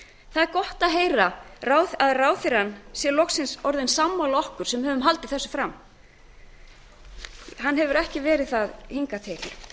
það er gott að heyra að ráðherrann sé loksins orðinn sammála okkur sem höfum haldið þessu fram hann hefur ekki verið það hingað til